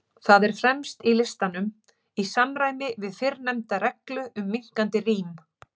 Það er fremst í listanum, í samræmi við fyrrnefnda reglu um minnkandi rím.